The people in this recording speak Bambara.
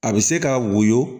A bɛ se ka woyo